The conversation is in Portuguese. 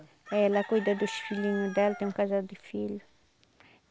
É, ela cuida dos filhinho dela, tem um casal de filho.